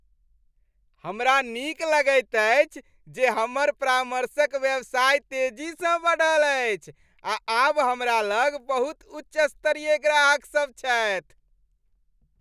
हमरा नीक लगैत अछि जे हमर परामर्शक व्यवसाय तेजीसँ बढ़ल अछि आ आब हमरा लग बहुत उच्च स्तरीय ग्राहकसब छथि।